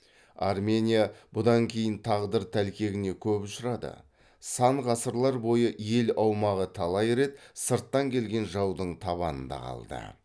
армения бұдан кейін тағдыр тәлкегіне көп ұшырады сан ғасырлар бойы ел аумағы талай рет сырттан келген жаудың табанында қалды